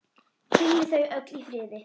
Hvíli þau öll í friði.